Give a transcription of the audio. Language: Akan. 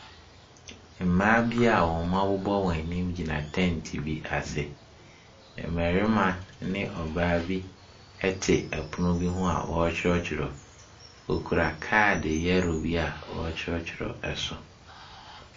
Mmaa bi wɔabobɔ wɔn anim egyina tent bi ase. Mmarima ne ɔbaa bi ɛte ɛpono bi ho a ɔretwerɔtwerɔ, ɔkura card yellow bi ɔtwerɛtwerɛ ɛso.